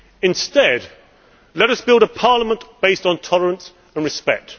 Instead, let us build a parliament based on tolerance and respect.